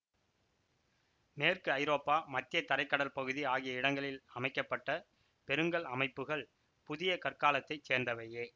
மேற்கு ஐரோப்பா மத்திய தரை கடல் பகுதி ஆகிய இடங்களில் அமைக்க பட்ட பெருங்கல் அமைப்புகள் புதிய கற்காலத்தைச் சேர்ந்தவையே